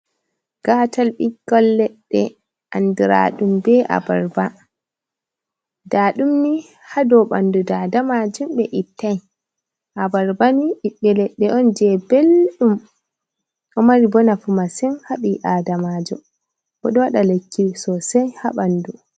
Gatal ɓikkon leɗɗe anduraɗum be abarba, nda ɗumni haɗo bandu dada majun be ittai abarba ni ɓiɓbe leɗɗe on je belɗum ɗo mari bo nafu massin haɓi adamajo bo ɗou waɗa lekki sosei ha ɓandu.